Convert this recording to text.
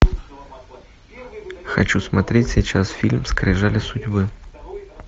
хочу смотреть сейчас фильм скрижали судьбы